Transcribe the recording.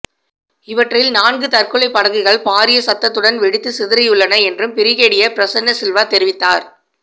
இவற்றில் நான்கு தற்கொலை படகுகள் பாரிய சத்தத்துடன் வெடித்துச் சிதறியுள்ளன என்றும் பிரிகேடியர் பிரசன்ன சில்வா தெரிவித்தார்